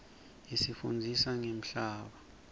isifundzisa ngemhlaba